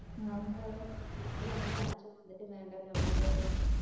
കൊണ്ട് വന്നിട്ട് അച്ഛൻ വന്നിട്ട് വേണ്ട ഞാൻ മിണ്ടറും